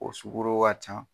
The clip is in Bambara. O sugɔro ka ca